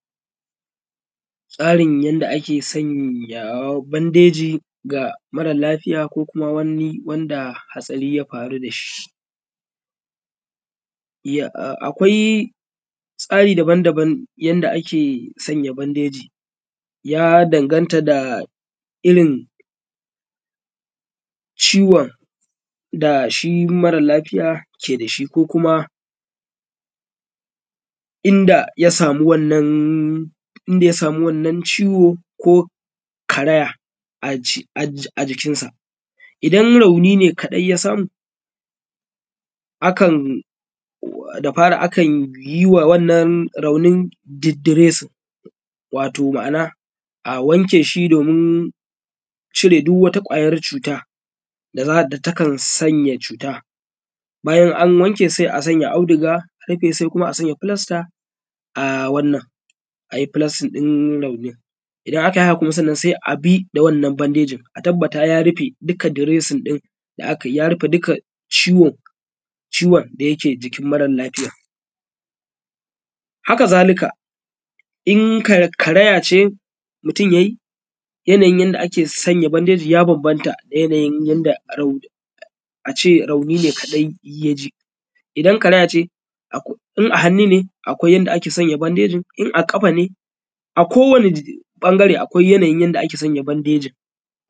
Tsarin yanda ake sanya bandeji ga mara lafiya ko kuma wanda hatsari ya faru da shi. Ya? Akwai tsari dabam dabam yanda ake sanya bandeji ya danganta da irin ciwon dashi mare lafiya ke da shi ko kuma inda ya samu wannnan, inda ya samu wannan ciwo ko karaya a jikinsa. Idan rauni ne ka dai ya samu akan wa, da fari akanyi wa wannan raunin diresin, wato ma’ana a wanke shi domin cire duk wata kwayar cuta da da takan sanya cuta, bayan an wanken sai a sanya auduga a rufe sai kuma a sanya filasta a wannan a a filastin din raunin, idan akayi haka kuma sai abi da wannan bandejin a tabbata ya rufe duka diresin din da akayi, ya rufe duka ciwon da yake jikin mare lafiyan. Haka zalika in karaya ce mutum yayi yana yin yanda ake sanya bandeji ya banbanta da yana yin rauni, ace rauni ne kaɗai ya ji, idan karayya ce akwai, in a hannu ne akwai yanda ake sanya bandejin in a ƙafa ne? A kowani yana yi akwai yanda ake sanya bandejin.